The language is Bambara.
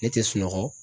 Ne tɛ sunɔgɔ